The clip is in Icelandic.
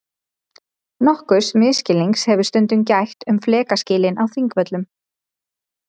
Nokkurs misskilnings hefur stundum gætt um flekaskilin á Þingvöllum.